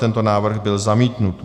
Tento návrh byl zamítnut.